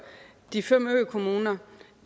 de fem økommuner